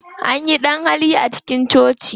Anyi ɗan-hali a cikin coci.